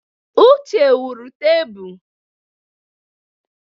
Uche wuru tebụl.